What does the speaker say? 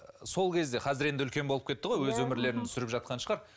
сол кезде қазір енді үлкен болып кетті ғой өз өмірлерін сүріп жатқан шығар